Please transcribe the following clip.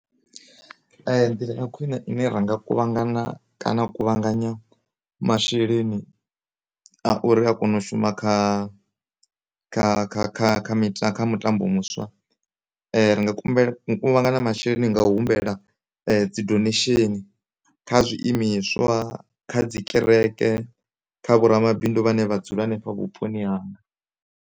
Nḓila ya khwine ine ra nga kuvhangana kana u kuvhanganya masheleni a uri a kone u shuma kha kha, kha, kha, kha mita, kha mutambo muswa ri nga kuvhangana masheleni nga u humbela dzi donation kha zwiimiswa, kha dzikereke kha vho ramabindu vhane vha dzula hanefha vhuponi hanga.